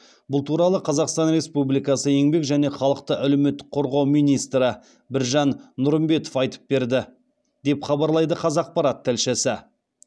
бұл туралы қазақстан республикасы еңбек және халықты әлеуметтік қорғау министрі біржан нұрымбетов айтып берді деп хабарлайды қазақпарат тілшісі